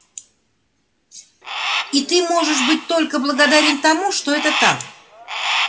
и ты можешь быть только благодарен тому что это так